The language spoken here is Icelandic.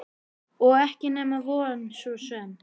Og ekki nema von svo sem.